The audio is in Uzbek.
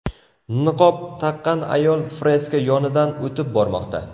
Niqob taqqan ayol freska yonidan o‘tib bormoqda.